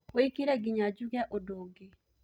wikĩrĩe nginya njuge undu ungi